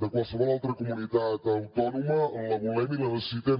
de qualsevol altra comunitat autònoma la volem i la necessitem